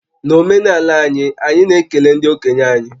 N'omenala anyị, anyị na-ekele ndị okenye anyị